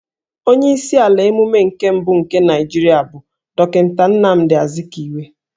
Onye isi ala emume nke mbụ nke Naijirịa bụ Dọkịnta Nnamdi Azkiwe